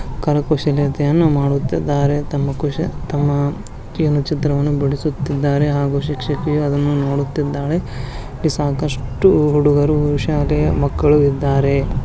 ಕರಕುಶಲತೆಯನ್ನು ಮಾಡುತ್ತಿದ್ದಾರೆ ತಮ್ಮ ಕುಶ ತಮ್ಮ ಕೇನ ಚಿತ್ರವನ್ನು ಬಿಡಿಸುತ್ತಿದ್ದಾರೆ. ಹಾಗು ಶಿಕ್ಷಕಿಯ ಅದನ್ನು ನೋಡುತ್ತಿದ್ದಾಳೆ. ಇಲ್ಲಿ ಸಾಕಷ್ಟು ಹುಡುಗರು ಶಾಲೆಯ ಮಕ್ಕಳು ಇದ್ದಾರೆ.